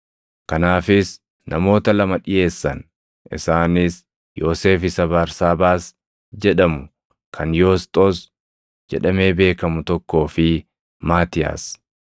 Kanaafis namoota lama dhiʼeessan; isaanis Yoosef isa Barsaabaas jedhamu kan Yoosxoos jedhamee beekamu tokkoo fi Maatiyaas.